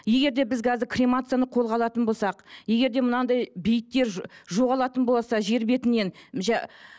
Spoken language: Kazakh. егер де біз қазір кремацияны қолға алатын болсақ егер де мынандай бейіттер жоғалатын болса жер бетінен